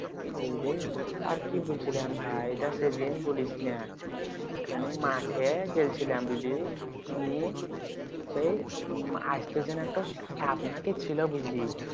বুজলি আর কি বলছিলাম ভাই এইডা সেদিন বলিস না জানিস মাঠে জেল্ছিলাম বুঝলি নিয়ে সেই উহ আসতে যেয়ে একটো সাপ না কি ছিল বুঝলি